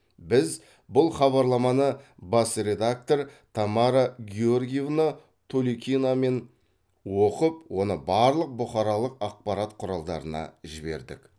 біз бұл хабарламаны бас редактор тамара георгиевна толикинамен оқып оны барлық бұқаралық ақпарат құралдарына жібердік